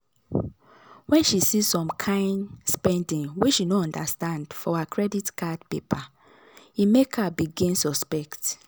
when she see some kain spending wey she no understand for her credit card paper e make her begin suspect.